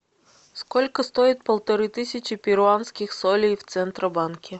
сколько стоит полторы тысячи перуанских солей в центробанке